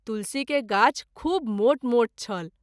तुलसी के गाछ खूब मोट मोट छल।